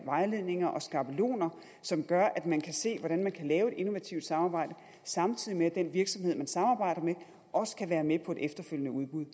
vejledninger og skabeloner som gør at man kan se hvordan man kan lave et innovativt samarbejde samtidig med at den virksomhed man samarbejder med også kan være med på et efterfølgende udbud